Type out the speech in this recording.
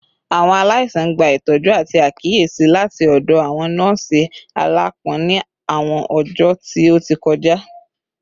Awọn alaisan gba itọju ati akiyesi lati ọdọ awọn nọọsi alaapọn ni awọn ọjọ ti o ti kọja